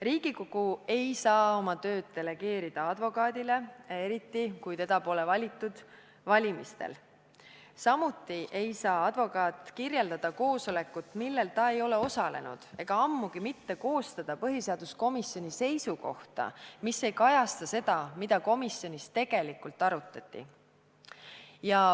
Riigikogu ei saa oma tööd delegeerida advokaadile, eriti kui teda pole valitud valimistel, samuti ei saa advokaat kirjeldada koosolekut, millel ta ei ole osalenud, ega ammugi mitte koostada põhiseaduskomisjoni seisukohta, mis ei kajasta seda, mida komisjonis tegelikult arutati.